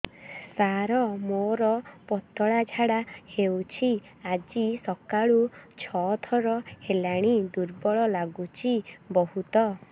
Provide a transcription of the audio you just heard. ସାର ମୋର ପତଳା ଝାଡା ହେଉଛି ଆଜି ସକାଳୁ ଛଅ ଥର ହେଲାଣି ଦୁର୍ବଳ ଲାଗୁଚି ବହୁତ